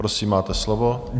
Prosím, máte slovo.